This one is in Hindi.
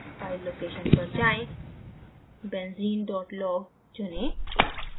file location पर जाएँ benzene log चुनें